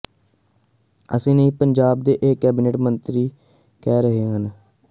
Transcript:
ਅਸੀਂ ਨਹੀਂ ਪੰਜਾਬ ਦੇ ਇਹ ਕੈਬਨਿਟ ਮੰਤਰੀ ਕਹਿ ਰਹੇ ਨੇ